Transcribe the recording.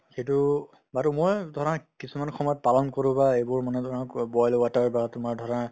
সিটো বাৰু মই ধৰা কিছুমান সময়ত পালন কৰো বা এইবোৰ মানে ধৰা boil water বা তোমাৰ ধৰা